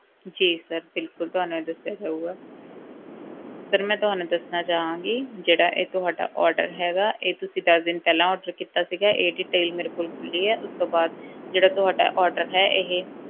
ਜੀ sir ਬਿਲਕੁਲ ਤੁਹਾਨੂੰ ਇਹ ਦੱਸਿਆ ਜਾਊਗਾ sir ਤੁਹਾਨੂੰ ਮੈਂ ਦੱਸਣਾ ਚਾਹਾਂਗੀ ਜਿਹੜਾ ਇਹ ਤੁਹਾਡਾ order ਹੈਗਾ, ਇਹ ਤੁਸੀਂ ਦਸ ਦਿਨ ਪਹਿਲਾਂ order ਕੀਤਾ ਸੀਗਾ ਇਹ detail ਮੇਰੇ ਕੋਲ ਖੁੱਲੀ ਹੈ, ਉਸ ਤੋਂ ਬਾਅਦ ਜਿਹੜਾ ਤੁਹਾਡਾ order ਹੈ ਇਹ,